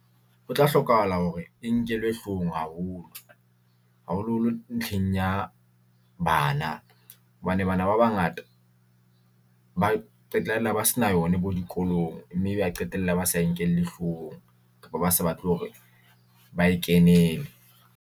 Ho tla hlokahala hore e nkelwe hlohong haholo, haholo-holo ntlheng ya bana, hobane bana ba bangata ba qetella ba sena yone bo dikolong. Mme ba qetella ba sa e nkelle hlohong kapa ba sa batle hore ba e kenele.